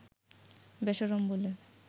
বেশরম বলে